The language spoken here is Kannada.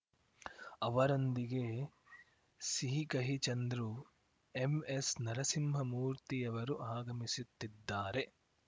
ಅವರೊಂದಿಗೆ ಸಿಹಿಕಹಿ ಚಂದ್ರು ಎಂಎಸ್‌ನರಸಿಂಹಮೂರ್ತಿಯವರೂ ಆಗಮಿಸುತ್ತಿದ್ದಾರೆ